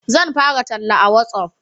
Zan fara talla a watsaf